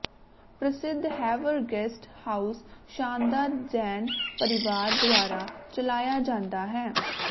ਪ੍ਰਸਿੱਧ ਹੈਵਰ guest house ਸ਼ਾਨਦਾਰ ਜੈਨ ਪਰਿਵਾਰ ਦੁਆਰਾ ਚਲਾਇਆ ਜਾਂਦਾ ਹੈ